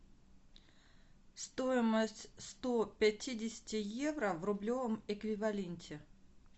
стоимость сто пятидесяти евро в рублевом эквиваленте